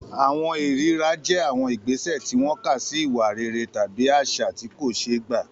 Àwọn ìríra jẹ́ àwọn ìgbésẹ̀ tí wọ́n kà sí ìwà rere tàbí àṣà tí kò ṣeé gbà.